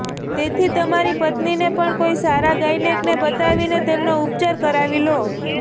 તેથી તમારી પત્નીને પણ કોઇ સારા ગાયનેકને બતાવીને તેમનો ઉપચાર કરાવી લો